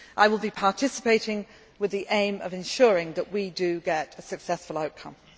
New York. I will be participating with the aim of ensuring that we do get a successful